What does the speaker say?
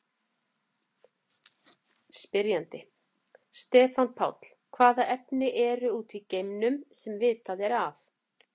Spyrjandi: Stefán Páll Hvaða efni eru úti í geimnum, sem vitað er af?